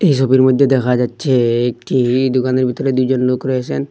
এই ছবির মইধ্যে দেখা যাচ্চে একটি দোকানের ভিতরে দুইজন লোক রয়েছেন।